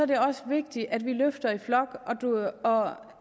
det også vigtigt at vi løfter i flok herre